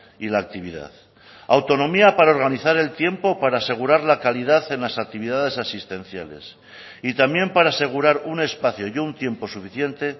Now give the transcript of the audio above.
y la actividad autonomía para organizar el tiempo para asegurar la calidad en las actividades asistenciales y también para asegurar un espacio y un tiempo suficiente